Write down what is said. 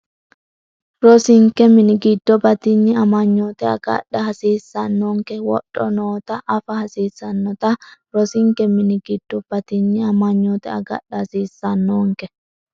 Rosinke mini giddo batinye amanyoote agadha hasiis- sannonke wodho noota afa hasiissannote Rosinke mini giddo batinye amanyoote agadha hasiis- sannonke.